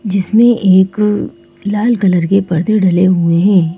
जिसमें एक लाल कलर के पर्दे डले हुए हैं।